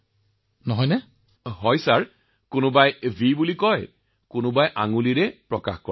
হয় মহোদয় কোনোবাই ভি দেখুৱায় কোনোবাই বুঢ়া আঙুলি দেখুৱায়